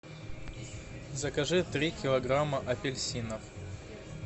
закажи три килограмма апельсинов